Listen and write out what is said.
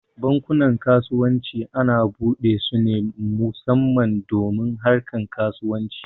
Bankunan kasuwanci ana buɗe su ne musamman don harkar kasuwanci